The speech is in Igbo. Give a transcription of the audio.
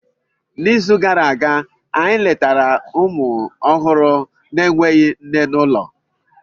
N'izu gara aga, anyị letara ụmụ ọhụrụ na-enweghị nne n'ụlọ.